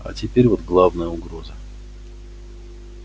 а теперь вот главная угроза